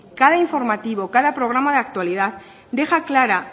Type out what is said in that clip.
cada informativo cada programa de actualidad deja clara